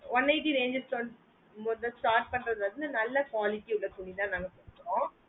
one eighty ranges ல வந்து start பண்றது வந்து நல்ல quality ஓட ஏ துணிதான் நாங்க வெச்சிருக்கோம்